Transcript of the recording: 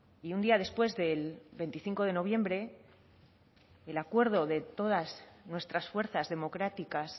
y un día después del veinticinco de noviembre el acuerdo de todas nuestras fuerzas democráticas